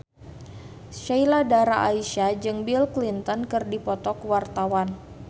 Sheila Dara Aisha jeung Bill Clinton keur dipoto ku wartawan